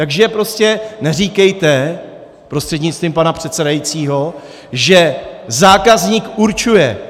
Takže prostě neříkejte prostřednictvím pana předsedajícího, že zákazník určuje.